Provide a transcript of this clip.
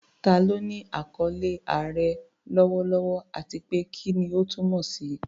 Ta ló ní àkọlé "Aare" lọ́wọ́lọ́wọ́, àti pé kí ni ó túmọ̀ sí?